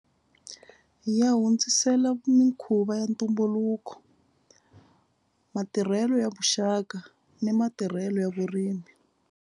Ya hundzisela mikhuva ya ntumbuluko matirhelo ya vuxaka ni matirhelo ya vurimi.